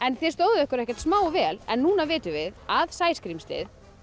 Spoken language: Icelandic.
þið stóðuð ykkur ekkert smá vel en núna vitum við að sæskrímslið